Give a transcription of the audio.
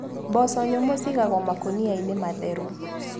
Mboco nyũmũ cigagwo makũnianĩ matheru.